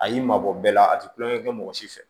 A y'i mabɔ bɛɛ la a tɛ kulonkɛ kɛ mɔgɔ si fɛ